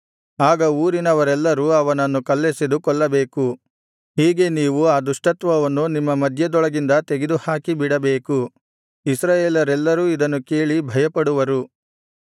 ಆಗ ಊರಿನವರೆಲ್ಲರೂ ಅವನನ್ನು ಕಲ್ಲೆಸೆದು ಕೊಲ್ಲಬೇಕು ಹೀಗೆ ನೀವು ಆ ದುಷ್ಟತ್ವವನ್ನು ನಿಮ್ಮ ಮಧ್ಯದೊಳಗಿಂದ ತೆಗೆದುಹಾಕಿಬಿಡಬೇಕು ಇಸ್ರಾಯೇಲರೆಲ್ಲರೂ ಇದನ್ನು ಕೇಳಿ ಭಯಪಡುವರು